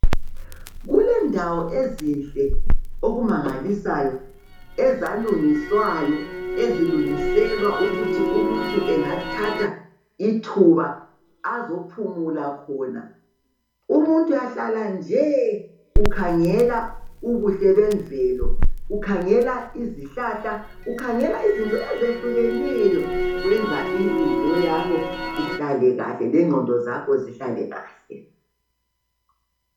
Kulendawo ezinhle okumangalisayo, ezalungiswayo. Eziilungiselwa ukuthi umuntu angathathe ithuba ithuba azephumula khona. Umuntu uyahlala. nje .ukhangela ubuhle bemvelo, ukhangela izihlahla, ukhangela izinto ezehlukeneyo . Kwenza inhliziyo yakho ihlale kahle, lengqondo yakho ihlale kahle.